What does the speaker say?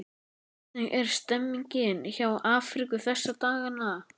Hvernig er stemningin hjá Afríku þessa dagana?